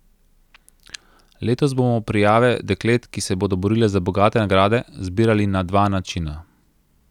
Letos bomo prijave deklet, ki se bodo borile za bogate nagrade, zbirali na dva načina.